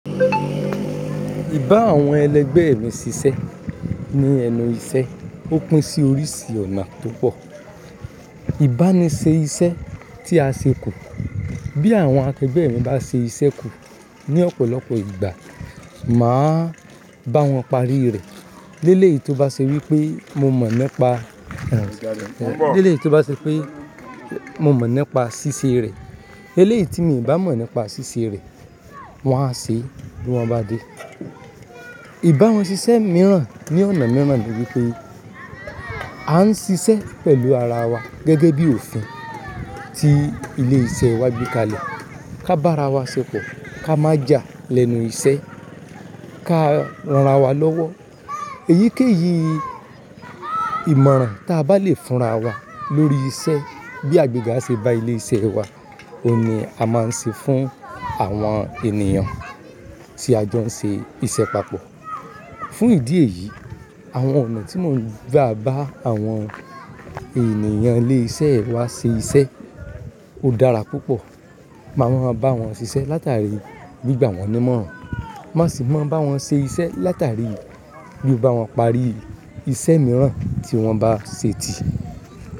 Bá àwọn ẹlẹgbẹ́ mi ṣiṣẹ́ ní ẹnu iṣẹ́ ó pín sí oríṣi ọ̀nà to pọ̀. Ìbá ni ṣe iṣẹ́ tí a ṣe kù. Bí àwọn akẹgbẹ́ mi bá ṣe iṣẹ́ kù ní ọ̀pọ̀lọpọ̀ ìgbà, màá bá wọn parí rẹ̀. Lélẹ̀ yìí tó bá ṣe wípé mo mọ̀ nípa, lélẹ̀ yìí tó bá ṣe pé mo mọ̀ nípa ṣíṣe rẹ̀. Lélẹ̀ yìí tí mi ì bá mọ̀ nípa ṣíṣe rẹ̀, wón á ṣe bí wọ́n bá dé. Ìbá wọn ṣiṣẹ́ mìíràn ní ọ̀nà mìíràn ni wípé a ń ṣiṣẹ́ pẹ̀lú ara wa gẹ́gẹ́ bí òfin tí ilé iṣẹ́ wa gbé kalẹ̀. Ka bá ara wa ṣepọ̀, ka má ja lẹ́nu iṣẹ́, ka ran ara wa lọ́wọ́. Èyíkéyìí ìmọ̀ràn ta bá lè fúnra wa lórí iṣẹ́, bí agbẹ́ga ṣe ba ilé iṣẹ́ wa, òun ni a máa ń ṣe fún àwọn ènìyàn tí a jọ ń ṣe iṣẹ́ papọ̀. Fún ìdí èyí, àwọn ọ̀nà tí mò ń gbà bá àwọn ènìyàn ilé iṣẹ́ wa ṣe iṣẹ́ ó dára púpọ̀. Màá máa ń bá wọn ṣiṣẹ́ látàrí gbìgbà wọ́n ní ìmọ̀ràn. Má sì máa ń bá wọn ṣe iṣẹ́ látàrí bí n bá wọn parí iṣẹ́ mìíràn tí wọ́n bá ṣe ti.